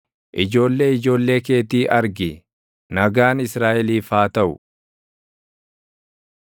ijoollee ijoollee keetii ni argi; nagaan Israaʼeliif haa taʼu.